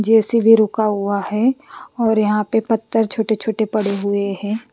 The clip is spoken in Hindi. जेसी भी रुका हुआ है और यहाँ पे पत्थर छोटे छोटे पड़े हुए है।